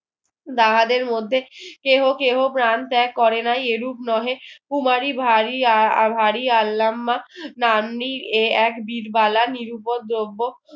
তাহাদের মধ্যে কেহ কেহ প্রাণ ত্যাগ করে নাই এরূপ নহে কুমারী ভারী এ এক বিরবালা নিরুপদ্রব্য